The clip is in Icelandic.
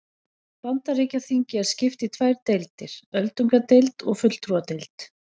Bandaríkjaþingi er skipt í tvær deildir, öldungadeild og fulltrúadeild.